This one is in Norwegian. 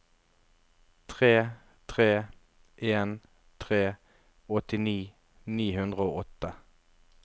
tre tre en tre åttini ni hundre og åtte